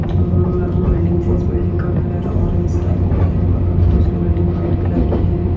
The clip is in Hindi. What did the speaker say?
बिल्डिंग साइज बिल्डिंग का कलर ऑरेंज टाइप का है और दूसरी बिल्डिंग वाइट कलर की है।